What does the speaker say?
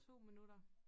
2 minutter